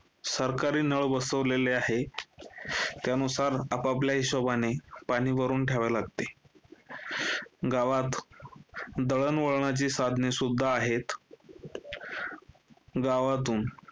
सरकारी नळ बसवलेले आहे, त्यानुसार आप-आपल्या हिशोबाने पाणी भरून ठेवावे लागते. गावात दळणवळणाची साधने सुद्धा आहे. गावातून